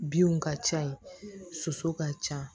Binw ka ca yen soso ka ca